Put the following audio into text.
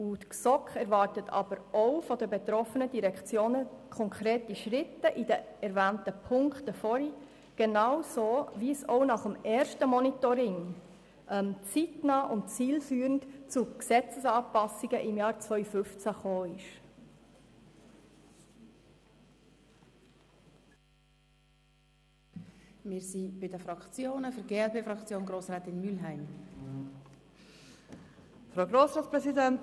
Zudem erwartet die GSoK von den betroffenen Direktionen konkrete Schritte in den erwähnten Punkten, genauso, wie es nach dem ersten Monitoring zeitnah und zielführend zu Gesetzesanpassungen im Jahr 2015 gekommen ist.